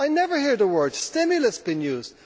I never hear the word stimulus being used.